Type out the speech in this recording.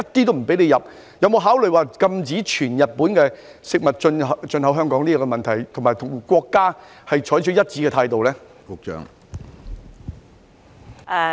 請問當局會否考慮全面禁止日本食物進口香港，並與國家採取一致的態度？